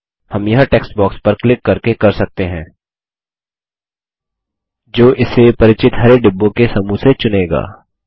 हम यह text box पर क्लिक करके कर सकते हैं जो इसे परिचित हरे डिब्बों के समूह से चुनेगा